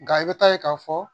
Nga i bɛ taa ye k'a fɔ